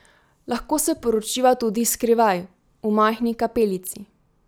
Lahko se poročiva tudi skrivaj, v majhni kapelici.